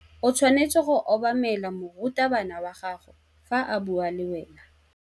O tshwanetse go obamela morutabana wa gago fa a bua le wena.